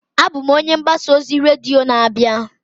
Abụ m onye mgbasa ozi redio na-abịa.